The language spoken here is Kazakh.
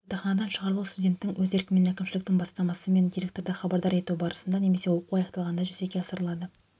жатақханадан шығарылу студенттің өз еркімен әкімшіліктің бастамасымен директорды хабардар ету барысында немесе оқу аяқталғанда жүзеге асырылады